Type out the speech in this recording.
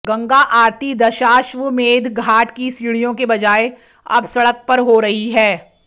गंगा आरती दशाश्वमेध घाट की सीढिय़ों के बजाय अब सड़क पर हो रही है